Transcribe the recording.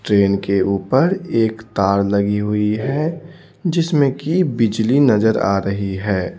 Train के ऊपर एक तार लगी हुई है जिसमें कि बिजली नजर आ रही है।